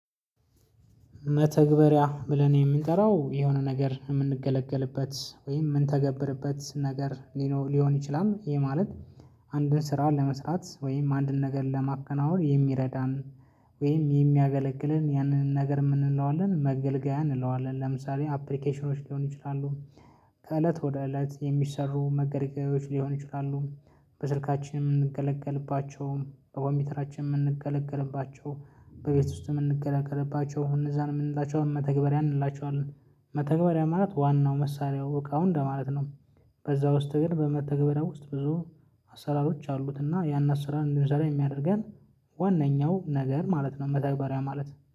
መተግበሪያ ብለን የምንጠራው የሆነ ነገር የምንገለገልበት ወይም የምንተገብርበት ነገር ሊኖር ሊሆን ይችላል ይሄ ማለት። አንድን ስራ ለመስራት ወይም አንድን ነገር ለማከናወን የሚረዳን። ወይም የሚያገለግለን ያንን ነገር ምን እንለዋለን መገልገያ እንለዋለን ለምሳሌ አፕሊኬሽኖች ሊሆኑ ይችላሉ። ከእለት ወደ እለት የሚሰሩ መገልገያዎች ሊሆኑ ይችላሉ። በስልካችን የምንገለገልባቸው በኮንፒተራችን የምንገለገልባቸው በቤት ውስጥ የምንገለገልባቸው እነዛን ምንላቸውን መተግበሪያ እንላቸዋለን። መተግበሪያ ማለት ዋናው መሳሪያው እቃው እንደማለት ነው። በዛ ውስጥ ግን በመተግበሪያው ውስጥ ብዙ አሰራሮች አሉት እና ያን አሰራር እንድንሰራ የሚያደርገን። ዋናኛው ነገር ማለት ነው መተግበሪያ ማለት